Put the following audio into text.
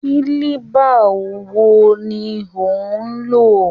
Kílíbà lwo ni ò ń lò?